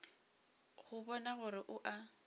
go bona gore o a